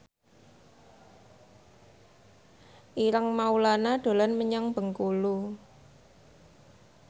Ireng Maulana dolan menyang Bengkulu